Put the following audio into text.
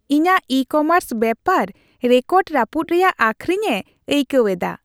ᱤᱧᱟᱹᱜ ᱤᱼᱠᱚᱢᱟᱨᱥ ᱵᱮᱯᱟᱨ ᱨᱮᱠᱚᱨᱰᱼ ᱨᱟᱹᱯᱩᱫ ᱨᱮᱭᱟᱜ ᱟᱹᱠᱷᱨᱤᱧᱮ ᱟᱹᱭᱠᱟᱹᱣ ᱮᱫᱟ ᱾